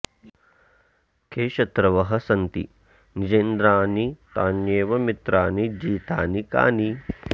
के शत्रवः सन्ति निजेन्द्रियाणि तान्येव मित्राणि जितानि कानि